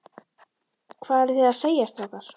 Hvað eruð þið að segja, strákar?